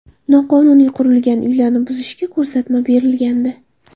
Noqonuniy qurilgan uylarni buzishga ko‘rsatma berilgandi .